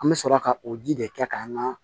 An bɛ sɔrɔ ka o ji de kɛ k'an ka